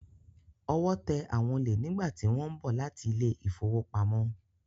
Ọwọ́ tẹ àwọn olè nígbàtí wọ́n ń bọ̀ láti ilé ìfowópamọ́.